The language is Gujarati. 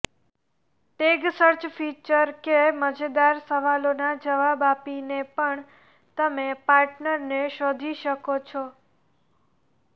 ટેગ સર્ચ ફીચર કે મજેદાર સવાલોના જવાબ આપીને પણ તમે પાર્ટનરને શોધી શકો છો